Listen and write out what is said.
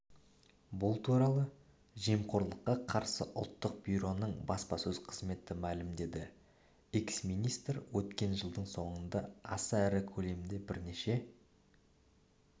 бұл туралы жемқорлыққа қарсы ұлттық бюроның баспасөз қызметі мәлімдеді экс-министр өткен жылдың соңындааса ірі көлемде бірнеше